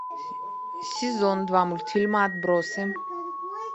сезон два мультфильма отбросы